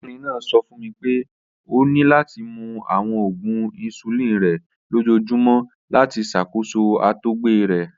Arabinrin naa sọ fun mi pe o ni lati mu awọn oògùn insulin rẹ lojoojumọ lati ṣakoso àtọgbẹ rẹ